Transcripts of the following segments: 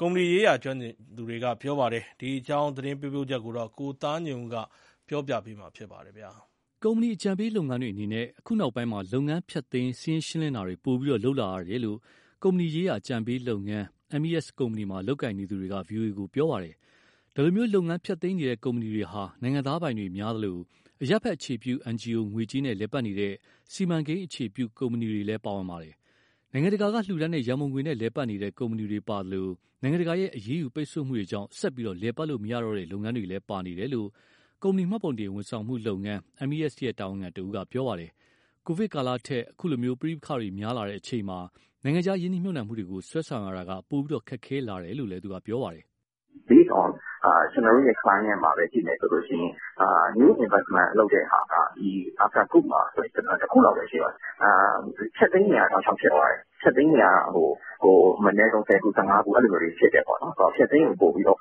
ကုမ္ပဏီရေးရာကျွမ်းကျင်သူတွေက ပြောပါတယ်။ ဒီအကြာင်း သတင်းပေးပို့ချက်ကို ကိုသားညွှန့်ဦး က တင်ပြပေးထားပါတယ်။ ကုမ္ပဏီအကြံပေးလုပ်ငန်းတွေအနေနဲ့ အခုနောက်ပိုင်းမှာ လုပ်ငန်းဖျက်သိမ်း စာရင်းရှင်းလင်းတာတွေ ပိုပြီးလုပ်လာရတယ်လို့ ကုမ္ပဏီရေးရာ အကြံပေးလုပ်ငန်း MES ကုမ္ပဏီမှာ လုပ်ကိုင်နေသူတွေက ဗွီအိုအေကို ပြောပါတယ်။ ဒီလို လုပ်ငန်းဖျက်သိမ်းနေတဲ့ကုမ္ပဏီတွေဟာ နိုင်ငံခြားသားပိုင်တွေများသလို အရပ်ဘက်အခြေပြု NGO ငွေကြေးနဲ့လည်ပတ်နေတဲ့ စီမံကိန်းအခြေပြု ကုမ္ပဏီတွေလည်း ပါဝင်ပါတယ်။ နိုင်ငံတကာကလှူဒါန်းတဲ့ရံပုံငွေနဲ့လည်ပတ်နေတဲ့ ကုမ္ပဏီတွေပါသလို နိုင်ငံတကာရဲ့အရေးယူပိတ်ဆို့မှုတွေကြောင့် ဆက်ပြီး လည်ပတ်လို့မရတော့တဲ့လုပ်ငန်းတွေလည်း ပါနေတယ်လို့ ကုမ္ပဏီမှတ်ပုံတင် ဝန်ဆောင်မှုလုပ်ငန်း MES ရဲ့တာဝန်ခံတဦးက ပြောပါတယ်။ ကိုဗစ်ကာလထက် အခုလို ပဋိပက္ခတွေများလာတဲ့အချိန်မှာ နိုင်ငံခြားရင်းနှီးမြှုပ်နှံမှုတွေကို ဆွဲဆောင်ရတာက ပိုပြီးခက်ခဲလာတယ်လို့ လည်း ပြောပါတယ်။ "Base on ကျနော်တို့ရဲ့ client မှာပဲကြည့်မယ်ဆိုရင် new investment လုပ်တဲ့ဟာက after coup တခုလောက်ပဲရှိတော့တယ်။ ဖျက်သိမ်းတွေက တောက်လျှောက် ဖြစ်သွားတယ်။ ဖျက်သိမ်းတွေက အနည်းဆုံး ဆယ်ခု၊ ဆယ့်ငါးခု အဲလိုမျိုးတွေ ဖြစ်တယ်ပေါ့နော်။ ဖျက်သိမ်းကို ပိုပြီးတော့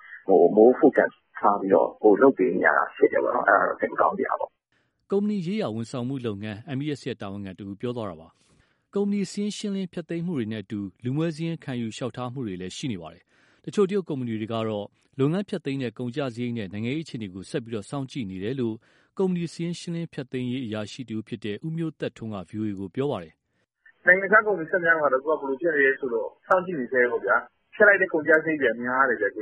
more focus ထားပြီးတော့ ပိုလုပ်ပေးနေရတာ ဖြစ်တယ်ပေါ့နော်။ အဲဒါတော့ စိတ်မကောင်းစရာပေါ့။" ကုမ္ပဏီရေးရာ ဝန်ဆောင်မှုလုပ်ငန်း MES ရဲ့ တာဝန်ခံတဦး ပြောသွားတာပါ။ ကုမ္ပဏီစာရင်းရှင်းလင်း ဖျက်သိမ်းမှုတွေနဲ့အတူ လူမွဲစာရင်းခံယူ လျှောက်ထားမှုတွေလည်း ရှိနေပါတယ်။ တချို့ တရုတ်ကုမ္ပဏီတွေကတော့ လုပ်ငန်းဖျက်သိမ်းတဲ့ ကုန်ကျစရိတ်နဲ့ နိုင်ငံရေးအခြေအနေကို ဆက်ပြီးစောင့်ကြည့်နေတယ်လို့ ကုမ္ပဏီ စာရင်းရှင်းလင်းဖျက်သိမ်းရေး အရာရှိတဦးဖြစ်တဲ့ ဦးအောင်မြင့်ထွန်းက ဗွီအိုအေကို ပြောပါတယ်။ " နိုင်ငံခြားကုမ္ပဏီ ခပ်များများကတော့ အခု ဘယ်လိုဖြစ်နေလဲဆိုတော့ စောင့်ကြည့်နေဆဲပေါ့ဗျာ။ ဖျက်လိုက်တဲ့ ကုန်ကျ စရိတ်တွေက များတယ်၊ မြန်မာပြ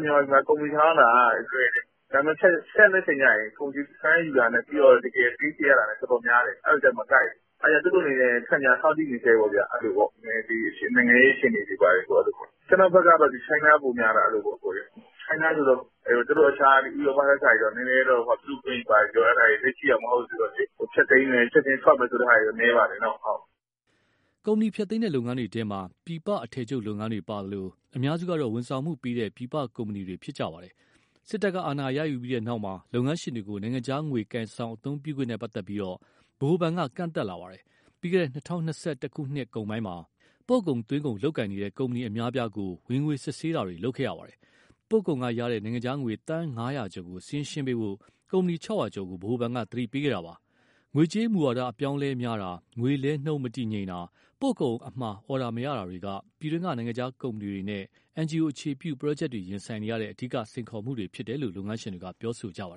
ည်မှာ ကုမ္ပဏီထောင်ရတာက လွယ်တယ်။ ဒါပေမယ့် ဖျက်တဲ့အချိန်ကျရင် firm ယူတာနဲ့ပြီးရင် တကယ်ပေးချေရတာနဲ့ တော်တော်များတယ်။ အဲ့လိုကျ မကိုက်ဘူး။ အဲဒီတော့ သူတို့အနေနဲ့ စောင့်ကြည့်နေဆဲပေါ့ဗျာ။ နည်းနည်းလေး နိုင်ငံရေး အခြေအနေတွေ ဘာတွေ။ ကျနော့ဘက်ကတော့ China ပိုများတာ၊ China ဆိုတော့ သူတို့တခြား ဥရောပထက်စာရင် လူ့အခွင့်အရေးဘာတွေ အဲဒါတွေ သိပ်ကြည့်တာ မဟုတ်ဘူးဆိုတော့ ဖျက်သိမ်းမယ်၊ ချက်ခြင်းထွက်မယ်ဆိုတာတော့ နည်းပါတယ်။" ကုမ္ပဏီဖျက်သိမ်းတဲ့လုပ်ငန်းတွေထဲမှာ ပြည်ပအထည်ချုပ်လုပ်ငန်းတွေပါသလို အများစုက ဝန်ဆောင်မှုပေးတဲ့ ပြည်ပကုမ္ပဏီတွေ ဖြစ်ပါတယ်။ စစ်တပ်က အာဏာရယူပြီးနောက်မှာ လုပ်ငန်းရှင်တွေကို နိုင်ငံခြားငွေ ကိုင်ဆောင် အသုံးပြုခွင့်နဲ့ ပတ်သက်ပြီး ဗဟိုဘဏ် က ကန့်သတ်လာပါတယ်။ ပြီးခဲ့တဲ့ ၂၀၂၁ နှစ်ကုန်ပိုင်းမှာ ပို့ကုန်၊ သွင်းကုန်လုပ်ကိုင်နေတဲ့ ကုမ္ပဏီအများအပြားကို ဝင်ငွေ စစ်ဆေးတာတွေ လုပ်ခဲ့ပါတယ်။ ပို့ကုန်ကရလာတဲ့ နိုင်ငံခြားငွေ သန်း ၅၀၀ ကျော်ကို စာရင်းရှင်းပေးဖို့ ကုမ္ပဏီ ၆၀၀ ကျော်ကို ဗဟိုဘဏ်က သတိပေးခဲ့တာပါ။ ငွေကြေးမူဝါဒ အပြောင်းအလဲများတာ၊ ငွေလဲနှုန်းမတည်ငြိမ်တာ၊ ပို့ကုန်အမှာ အော်ဒါမရတာတွေက ပြည်တွင်းက နိုင်ငံခြားကုမ္ပဏီတွေနဲ့ NGO အခြေပြု ပရော့ဂျက်တွေရင်ဆိုင်ရတဲ့ အဓိက စိန်ခေါ်မှုတွေဖြစ်တယ်လို့ လုပ်ငန်းရှင်တွေက ပြောကြပါတယ်